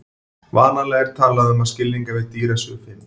Vanalega er talað um að skilningarvit dýra séu fimm.